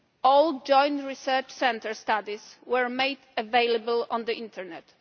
All Joint Research Centre studies were made available on the internet.